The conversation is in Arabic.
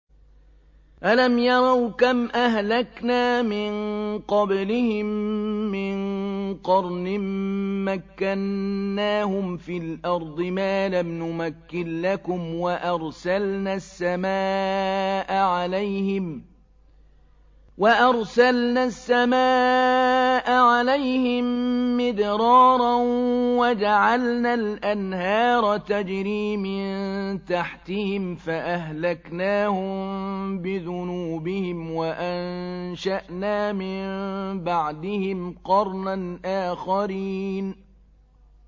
أَلَمْ يَرَوْا كَمْ أَهْلَكْنَا مِن قَبْلِهِم مِّن قَرْنٍ مَّكَّنَّاهُمْ فِي الْأَرْضِ مَا لَمْ نُمَكِّن لَّكُمْ وَأَرْسَلْنَا السَّمَاءَ عَلَيْهِم مِّدْرَارًا وَجَعَلْنَا الْأَنْهَارَ تَجْرِي مِن تَحْتِهِمْ فَأَهْلَكْنَاهُم بِذُنُوبِهِمْ وَأَنشَأْنَا مِن بَعْدِهِمْ قَرْنًا آخَرِينَ